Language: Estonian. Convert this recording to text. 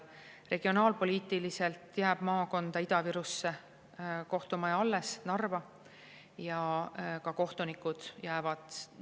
Regionaalpoliitiliselt jääb Ida-Viru maakonda kohtumaja alles, see on Narvas, ja ka kohtunikud jäävad alles.